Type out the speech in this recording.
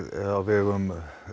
á vegum